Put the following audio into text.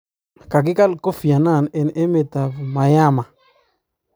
kagigal Kofi Anane en emetap Myanmar